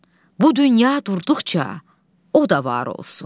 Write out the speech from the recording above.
Bu dünya durduqca, o da var olsun.